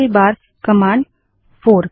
command 3 option 1 - option 2